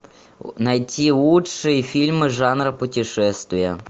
найти лучшие фильмы жанра путешествия